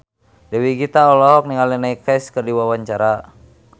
Dewi Gita olohok ningali Neil Casey keur diwawancara